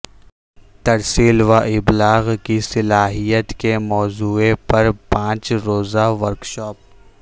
ترسیل و ابلاغ کی صلاحیت کے موضوع پر پانچ روزہ ورکشاپ